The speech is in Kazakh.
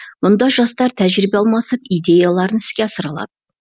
мұнда жастар тәжірибе алмасып идеяларын іске асыра алады